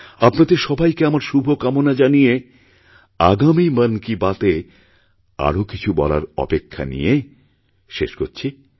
আপনাদের সবাইকে আমার শুভকামনা জানিয়ে আগামী মন কি বাতএ আরও কিছু বলার অপেক্ষানিয়ে শেষ করছি